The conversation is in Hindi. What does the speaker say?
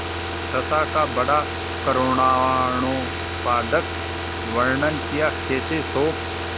दशा का बड़ा करूणोत्पादक वर्णन कियाकैसे शोक